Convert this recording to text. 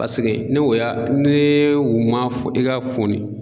Paseke ne o y'a ne o man fɔ i ka foni